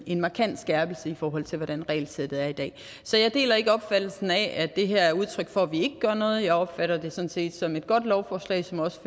en markant skærpelse i forhold til hvordan regelsættet er i dag så jeg deler ikke opfattelsen af at det her er udtryk for at vi ikke gør noget jeg opfatter det sådan set som et godt lovforslag som også